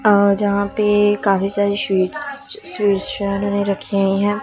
अ जहां पे काफी सारी स्वीट्स शीशा मे रखी है।